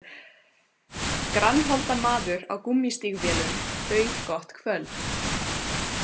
Grannholda maður á gúmmístígvélum bauð gott kvöld